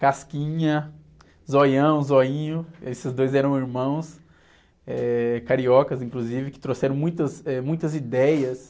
Casquinha, Zoião, Zoinho, esses dois eram irmãos, eh, cariocas, inclusive, que trouxeram, muitas, eh, muitas ideias.